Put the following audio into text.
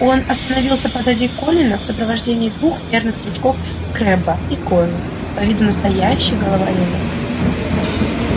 он остановился позади колина в сопровождении двух верных дружков крэбба и гойла по виду настоящих головорезов